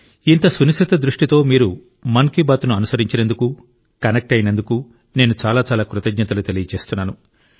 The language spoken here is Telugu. ఇంత సునిశిత దృష్టితో మీరు మన్ కీ బాత్ ను అనుసరించినందుకు కనెక్ట్ అయినందుకు నేను చాలా చాలా కృతజ్ఞతలు తెలియజేస్తున్నాను